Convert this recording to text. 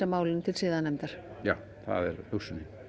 málinu til siðanefndar já það er hugsunin